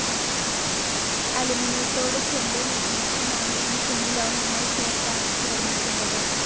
അലുമിനിയത്തോട് ചെമ്പ്, magnesium, manganese എന്നീ ലോഹങ്ങൾ ചേർത്താണിത് നിർമ്മിക്കുന്നത്.